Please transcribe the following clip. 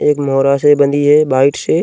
एक मोरा से बधी है भाइट से।